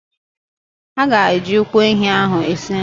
A ga-eji ụkwụ ehi ahụ esi nri.